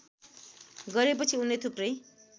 गरेपछि उनले थुप्रै